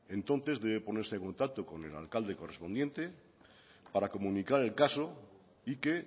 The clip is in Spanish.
entonces debe ponerse en contacto con el alcalde correspondiente para comunicar el caso y que